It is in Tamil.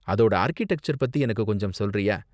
அதோட ஆர்க்கிடெக்சர் பத்தி எனக்கு கொஞ்சம் சொல்றியா?